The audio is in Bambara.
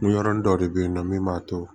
Miyɔrɔni dɔ de bɛ yen nɔ min b'a to